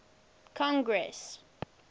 congress